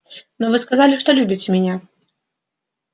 но вы сказали что любите меня